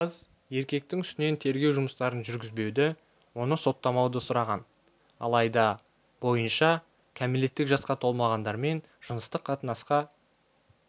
қыз еркектің үстінен тергеу жұмыстарын жүргізбеуді оны соттамауды сұраған алайда бойынша кәмелеттік жасқа толмағандармен жыныстық қатынасқа